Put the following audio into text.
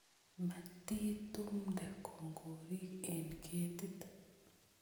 Matitumde kokorik en ketit